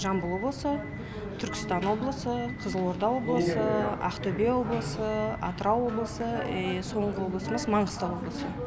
жамбыл облысы түркістан облысы қызылорда облысы ақтөбе облысы атырау облысы и соңғы облысымыз маңғыстау облысы